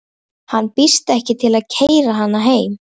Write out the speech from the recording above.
Hann býðst ekki til að keyra hana heim.